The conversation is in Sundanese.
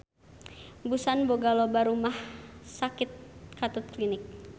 Busan boga loba rumah sakit katut klinik.